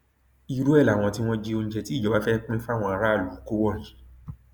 irú ẹ làwọn tí wọn jí oúnjẹ tí ìjọba fẹẹ pín fáwọn aráàlú kó wọnyí